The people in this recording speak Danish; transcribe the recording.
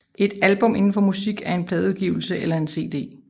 Et album inden for musik er en pladeudgivelse eller en cd